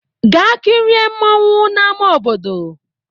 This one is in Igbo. Gaa kirie mmọnwụ n'ama obodo!